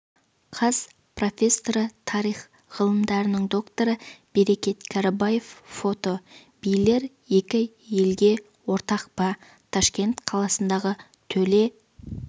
қаз профессоры тарих ғылымдарының докторы берекет кәрібаев фото билер екі елге ортақ па ташкент қаласындағы төле